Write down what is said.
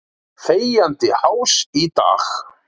Þegjandi hás í dag.